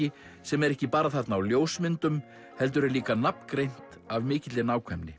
sem er ekki bara þarna á ljósmyndum heldur er líka nafngreint af mikilli nákvæmni